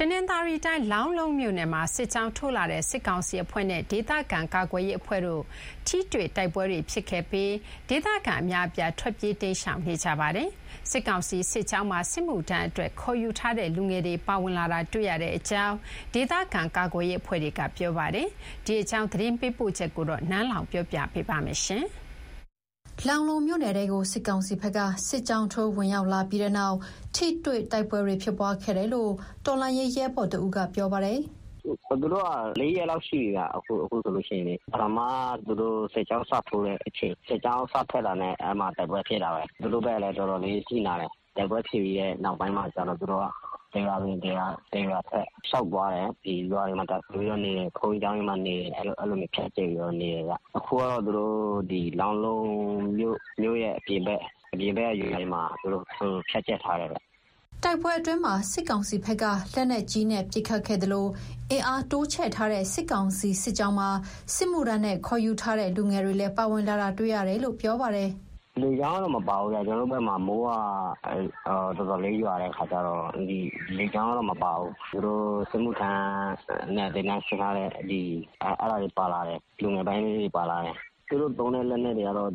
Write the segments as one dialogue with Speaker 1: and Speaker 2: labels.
Speaker 1: တနင်္သာရီတိုင်း၊ လောင်းလုံးမြို့နယ်မှာ စစ်ကြောင်းထိုးလာတဲ့ စစ်ကောင်စီအဖွဲ့နဲ့ ဒေသခံကာကွယ်ရေးအဖွဲ့တို့ ထိတွေ့တိုက်ပွဲတွေဖြစ်ခဲ့ပြီး ဒေသခံတော်တော်များများ ထွက်ပြေးတိမ်းရှောင်နေကြပါတယ်။ စစ်ကောင်စီစစ်ကြောင်းမှာ စစ်မှုထမ်းအတွက် ခေါ်ယူထားတဲ့ လူငယ်တွေပါဝင်လာတာ တွေ့ရတယ်လို့ ဒေသခံကာကွယ်ရေးအဖွဲ့က ပြောပါတယ်။ ဒီအကြောင်း သတင်းပေးပို့ထားတာကို နန်းလောင်ဝ်က တင်ပြပေးထားပါတယ်။ လောင်းလုံးမြို့နယ်ထဲကို စစ်ကောင်စီဘက်က စစ်ကြောင်းထိုးဝင်ရောက်လာပြီးနောက် ထိတွေ့တိုက်ပွဲတွေ ဖြစ်ပွားခဲ့တယ်လို့ တော်လှန်ရေးရဲဘော်တဦးက ပြောပါတယ်
Speaker 2: ။ "သူတို့က ၄ ရက်လောက် ရှိပြီဗျ။ ပထမ သူတို့စစ်ကြောင်းစထွက်တာနဲ့ အဲဒီမှာ တိုက်ပွဲဖြစ်တာပဲ။ သူတို့ဘက်ကလည်း တော်တော်လေး အထိနာတယ်။ တိုက်ပွဲဖြစ်ပြီးတဲ့နောက်ပိုင်းမှာကျတော့ သူတို့က တရွာဝင်တရွာထွက် လျှောက်သွားတယ်။ ရွာတွေမှာ တပ်စွဲပြီးတော့နေတယ်။ ဘုန်းကြီးကျောင်းတွေမှာ နေတယ်။ အဲဒီလိုမျိုး ဖြန့်ကျဲပြီးတော့ နေတယ်ဗျ။ အခုကတော့ သူတို့ လောင်းလုံးမြို့ရဲ့အပြင်ဘက်ကရွာတွေမှာ ဖြန့်ကျက်ထားတယ်ဗျ။
Speaker 1: " တိုက်ပွဲအတွင်းမှာ စစ်ကောင်စီဘက်က လက်နက်ကြီးပစ်ခတ်ခဲ့သလို အင်အားတိုးချဲ့ထားတဲ့ စစ်ကောင်စီစစ်ကြောင်းမှာ စစ်မှုထမ်းနဲ့ခေါ်ယူထားတဲ့ လူငယ်တွေလည်းပါဝင်လာတာတွေ့ရတယ်လို့ ပြောပါတယ်။ "
Speaker 2: လေကြောင်းကတော့ မပါဘူးဗျ။ ကျနော်တို့ဘက်မှာ မိုးတော်တော်ရွာတော့ လေကြောင်းကတော့မပါဘူး။ သူတို့စစ်မှုထမ်းနဲ့ သင်တန်းဆင်းထားတဲ့ လူငယ်ပိုင်းလေးတွေပါလာတယ်။ သူတို့သုံးတဲ့လက်နက်တွေကတော့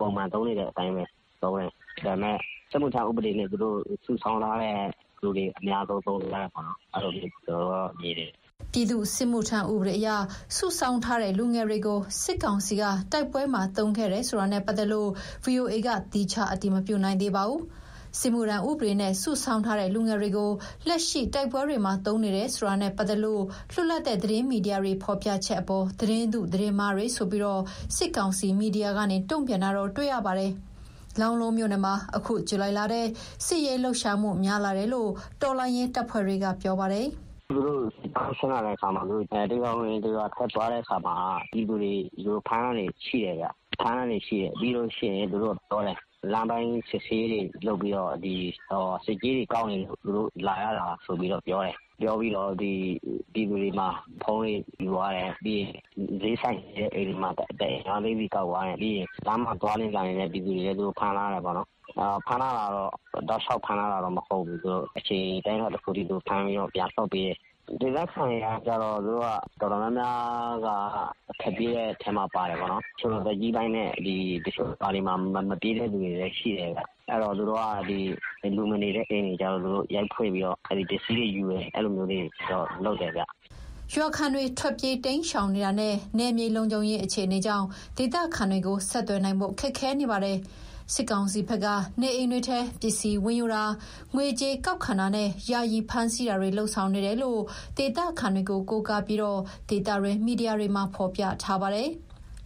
Speaker 2: ပုံမှန်သုံးနေတဲ့အတိုင်းပဲ သုံးတယ်။ ဒါပေမဲ့ စစ်မှုထမ်းဥပဒေနဲ့ သူတို့စုဆောင်းထားတဲ့ လူတွေကို အများဆုံးသုံးနေကြတာ ကျနော်တို့မြင်တယ်။
Speaker 1: " ပြည်သူ့စစ်မှုထမ်းဥပဒေအရ စုဆောင်းထားတဲ့ လူငယ်တွေကို စစ်ကောင်စီက တိုက်ပွဲမှာ သုံးခဲ့တယ်ဆိုတာနဲ့ပတ်သက်လို့ ဗွီအိုအေက သီးခြားအတည်မပြုနိုင်သေးပါဘူး။ စစ်မှုထမ်းဥပဒေနဲ့ စုဆောင်းထားတဲ့ လူငယ်တွေကို လက်ရှိတိုက်ပွဲတွေမှာ သုံးနေတယ်ဆိုတာနဲ့ပတ်သက်လို့ လွတ်လပ်တဲ့ သတင်းမီဒီယာတွေ ဖော်ပြချက်အပေါ် သတင်းတု သတင်းမှားတွေဆိုပြီး စစ်ကောင်စီမီဒီယာကနေ တုံ့ပြန်တာတော့ တွေ့ရပါတယ်။ လောင်းလုံးမြို့နယ်မှာ အခုဇူလိုင်လထဲ စစ်ရေးလှုပ်ရှားမှု များလာတယ်လို့ တော်လှန်ရေးတပ်ဖွဲ့တွေက ပြောပါတယ်။
Speaker 2: "သူတို့စစ်ကြောင်း ဆင်းလာတဲ့အခါမှာ တရွာဝင်တရွာထွက်ရင်း ပြည်သူတွေကို ဖမ်းတာရှိတယ်ဗျ။ သူတို့က ဘာပြောလဲဆိုတော့ လမ်းပိုင်းစစ်ဆေးရေးတွေလုပ်ပြီး ဆက်ကြေးတွေကောက်နေလို့ သူတို့လာရတာလို့ပြောတယ်။ ပြီးတော့ ပြည်သူတွေဆီက ဖုန်းတွေယူသွားတယ်။ စျေးဆိုင်ရှိတဲ့ အိမ်တွေမှာ ၅ သိန်းစီ ကောက်သွားတယ်။ လမ်းမှာသွားလာနေတဲ့ ပြည်သူတွေကို ဖမ်းသွားတယ်။ တောက်လျှောက်ဖမ်းထားတာတော့ မဟုတ်ဘူး။ အချိန်အတိုင်းအတာတခုအထိ ဖမ်းထားပြီးတော့ ပြန်လွှတ်ပေးတယ်။ ဒေသခံတော်တော်များများက ထွက်ပြေးကြတယ်။ အသက်ကြီးပိုင်းနဲ့ မပြေးတဲ့သူတချို့လည်းရှိတယ်။ အဲတော့ လူမနေတဲ့အိမ်တွေကျ သူတို့ရိုက်ဖွင့်ပြီးတော့ ပစ္စည်းတွေယူတယ်။ အဲလိုမျိုးတွေတော့ လုပ်တယ်ဗျ။"
Speaker 1: ရွာခံတွေ ထွက်ပြေးတိမ်းရှောင်နေတာနဲ့ နယ်မြေလုံခြုံရေး အခြေအနေကြောင့် ဒေသခံတွေကိုဆက်သွယ်နိုင်ဖို့ ခက်ခဲနေပါတယ်။ စစ်ကောင်စီဘက်က နေအိမ်တွေထဲ ပစ္စည်းဝင်ယူတာ၊ ငွေကြေးကောက်ခံတာနဲ့ ယာယီဖမ်းဆီးတာတွေ လုပ်ဆောင်နေတယ်လို့ ဒေသခံတွေကို ကိုးကားပြီး ဒေသတွင်းမီဒီယာတွေမှာ ဖော်ပြထားပါတယ်။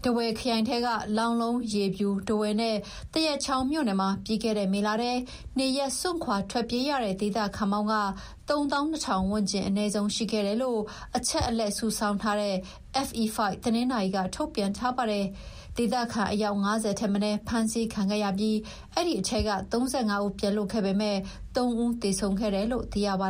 Speaker 1: ထားဝယ်ခရိုင်ထဲက လောင်းလုံး၊ ရေဖြူ၊ ထားဝယ်နဲ့ သရက်ချောင်းမြို့နယ်မှာ ပြီးခဲ့တဲ့ မေလထဲ နေရပ်စွန့်ထွက်ပြေးရတဲ့ ဒေသခံပေါင်း ၃၂,၀၀၀ ဝန်းကျင် အနည်းဆုံးရှိခဲ့တယ်လို့ အချက်အလက်စုဆောင်းထားတဲ့ FE5 တနင်္သာရီက ထုတ်ပြန်ထားပါတယ်။ ဒေသခံအယောက် ၅၀ ထက်မနည်း ဖမ်းဆီးခံခဲ့ရပြီး အဲဒီထဲက ၃၅ ဦး ပြန်လွတ်ခဲ့ပေမယ့် ၃ ဦးသေဆုံးခဲ့တယ်လို့ သိရပါ